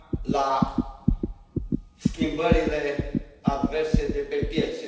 la schimbările adverse de pe piețe.